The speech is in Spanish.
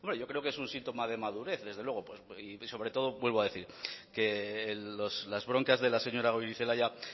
yo creo que es un síntoma de madurez desde luego y sobre todo vuelvo a decir que las broncas de la señora goirizelaia